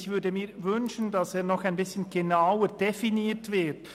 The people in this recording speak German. Ich würde mir wünschen, dass er noch ein bisschen genauer definiert wird.